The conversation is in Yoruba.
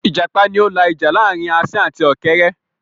Ìjàpá ni ó la ìjà láàrin asín àti ọ̀kẹ́rẹ́